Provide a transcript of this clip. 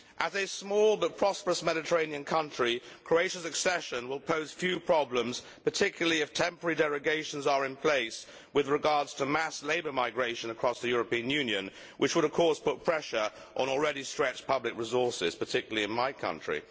As a small but prosperous Mediterranean country, Croatia's accession will pose few problems, particularly if temporary derogations are in place with regard to mass labour migration across the European Union, which would of course put pressure on already stretched public resources, particularly in my country.